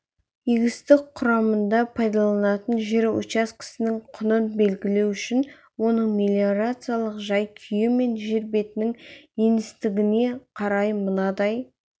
егістік құрамында пайдаланылатын жер учаскесінің құнын белгілеу үшін оның мелиорациялық жай-күйі мен жер бетінің еңістігіне қарай мынадай